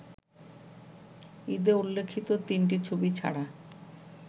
ঈদে উল্লেখিত তিনটি ছবি ছাড়া